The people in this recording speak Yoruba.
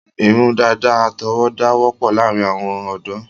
Irun dàda àtọwọ́dá wọ́pọ̀ láàrin àwọn ọ̀dọ́